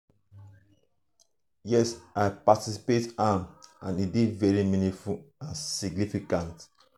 yes i participate am and e dey very meaningful and significant.